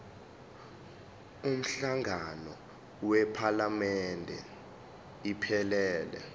umhlangano wephalamende iphelele